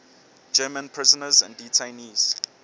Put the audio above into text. german prisoners and detainees